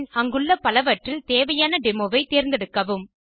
பின் அங்குள்ள பலவற்றில் தேவையான டெமோ ஐ தேர்ந்தெடுக்கவும்